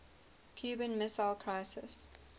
cuban missile crisis